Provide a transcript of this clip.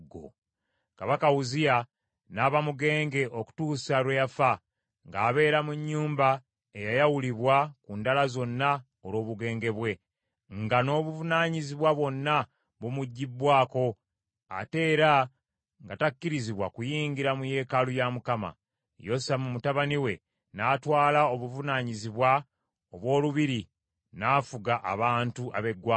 Kabaka Uzziya n’aba mugenge okutuusa lwe yafa, ng’abeera mu nnyumba eyayawulibwa ku ndala zonna olw’obugenge bwe, nga n’obuvunaanyizibwa bwonna bumuggyibbwako, ate era nga takkirizibwa kuyingira mu yeekaalu ya Mukama . Yosamu mutabani we n’atwala obuvunaanyizibwa obw’olubiri n’afuga abantu ab’eggwanga.